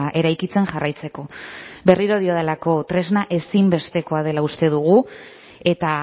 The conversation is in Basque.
eraikitzen jarraitzeko berriro diodalako tresna ezinbestekoa dela uste dugu eta